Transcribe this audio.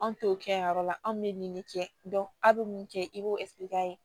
Anw t'o kɛ a yɔrɔ la anw bɛ nin de kɛ a bɛ mun kɛ i b'o